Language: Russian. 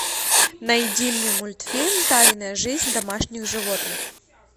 найди мне мультфильм тайная жизнь домашних животных